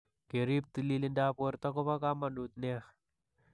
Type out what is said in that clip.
Ke riib tililindoap borto ko po kamanut nia.